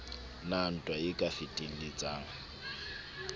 na ntwa e ka fetelletsang